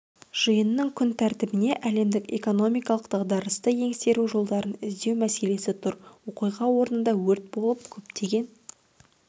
жиынның күн тәртібінде әлемдік экономикалық дағдарысты еңсеру жолдарын іздеу мәселесі тұр оқиға орнында өрт болып көптеген